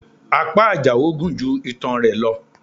Apá Àjàó gun ju itan rẹ lọ